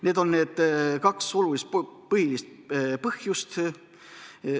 Need on kaks olulist, põhilist põhjust.